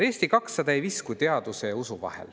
Eesti 200 ei viskle teaduse ja usu vahel.